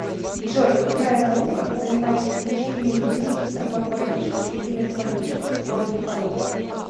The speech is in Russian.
джой какая наука занимается изучением генезиса магматических и метаморфических горных пород